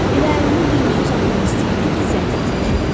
Elə əlini düyməyə uzatmaq istəyirdi ki, zəng səsi eşidildi.